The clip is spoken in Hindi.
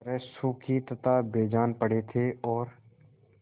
तरह सूखे तथा बेजान पड़े थे और